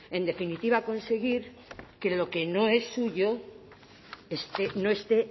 en definitiva conseguir que lo que no es suyo no esté